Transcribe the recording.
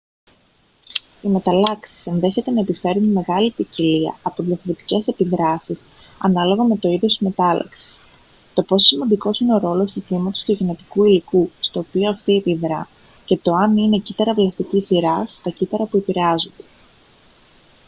οι μεταλλάξεις ενδέχεται να επιφέρουν μεγάλη ποικιλία από διαφορετικές επιδράσεις ανάλογα με το είδος της μετάλλαξης το πόσο σημαντικός είναι ο ρόλος του τμήματος του γενετικού υλικού στο οποίο αυτή επιδρά και το αν είναι κύτταρα βλαστικής σειράς τα κύτταρα που επηρεάζονται